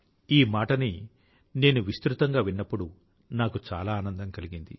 ఈ మాటని నేను విస్తృతంగా విన్నప్పుడు నాకు చాలా ఆనందం కలిగింది